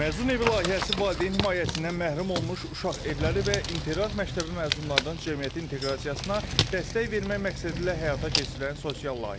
Məzun evi layihəsi valideyn himayəsindən məhrum olmuş uşaq evləri və internat məktəbi məzunlarının cəmiyyətə inteqrasiyasına dəstək vermək məqsədilə həyata keçirilən sosial layihədir.